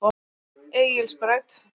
Egilsbraut